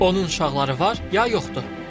Onun uşaqları var, ya yoxdur?